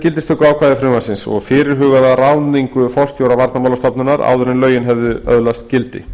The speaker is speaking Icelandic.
gildistökuákvæði frumvarpsins og fyrirhugaða ráðningu forstjóra varnarmálastofnunar áður en lögin hefðu öðlast gildi